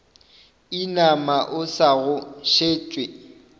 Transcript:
inama o sa go šetše